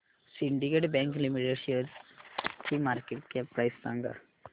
Syndicate Bank Limited शेअरची market cap price सांगा